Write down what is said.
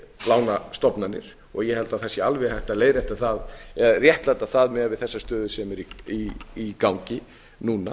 lánastofnanir og ég held að það sé alveg hægt að réttlæta það miðað við þessa stöðu sem er í gangi núna